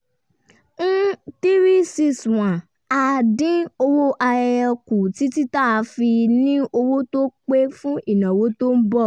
361 a dín owó ayẹyẹ kù títí tá a fi ní owó tó pé fún ìnáwó tó ń bọ̀